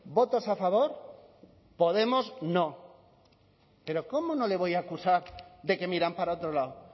votos a favor podemos no pero cómo no le voy a acusar de que miran para otro lado